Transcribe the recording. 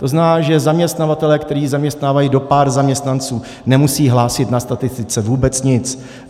To znamená, že zaměstnavatelé, kteří zaměstnávají do pár zaměstnanců, nemusí hlásit na statistice vůbec nic.